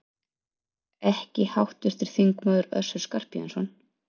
Ekki háttvirtur þingmaður Össur Skarphéðinsson?